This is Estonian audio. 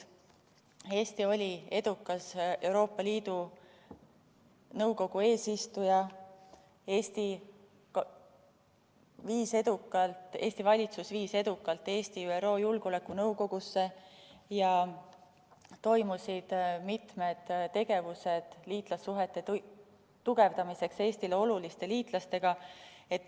Eesti oli edukas Euroopa Liidu Nõukogu eesistuja, Eesti valitsus viis edukalt Eesti ÜRO Julgeolekunõukogusse ja toimusid mitmed tegevused liitlassuhete tugevdamiseks Eestile oluliste liitlastega.